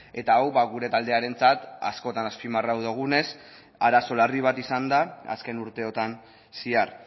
eta hau gure taldearentzat askotan azpimarratu dugunez arazo larri bat izan da azken urteotan zehar